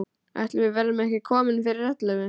Ætli við verðum ekki komin fyrir ellefu.